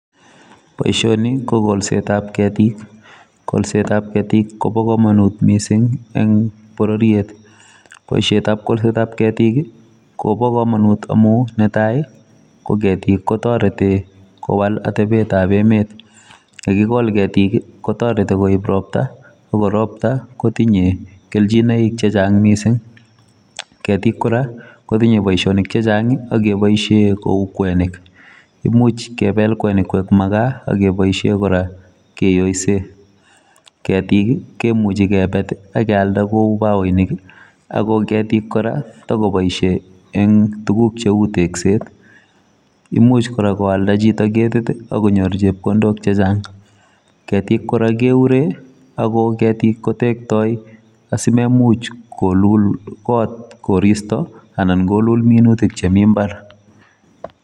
Boisoni ko kolset ab ketiik ,kolset ab ketiik kobaa kamanut missing eng borororiet boisiet ab kolset ab ketiik kobaa kamanut amuun netai ko ketiik ko taretii kowaal atep tab emet, ye kaigol ketil kotaretii koib roptaa ko roptaa ko tinye kelchinaik che chaang missing, ketiik kora kotinyei boisionik che chaang ak kebaisheen kou kwenik, imuuch kebel makaa, imuuch kora kiyoiseen ketiik kora kemuchei ketil koek bagoinik ako ketiik kora eng tuguk che uu tekseet imuuch koaldaa chito akonyoor chepkondook che chaang, ketiik kora keuren ako kora kotektoi asimemuch koluul koot koristoi anan koluul minutiik chemii mbar.